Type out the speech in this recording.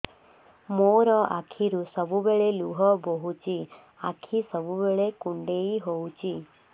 ମୋର ଆଖିରୁ ସବୁବେଳେ ଲୁହ ବୋହୁଛି ଆଖି ସବୁବେଳେ କୁଣ୍ଡେଇ ହଉଚି